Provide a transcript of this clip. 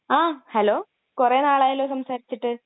ങാ! ഹലോ..കുറേ നാളായല്ലോ സംസാരിച്ചിട്ട്...